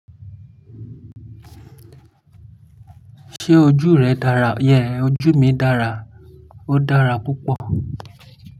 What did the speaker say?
Ṣé ojú rẹ dára? Yeah, ojú mi dára, ó dára púpọ̀.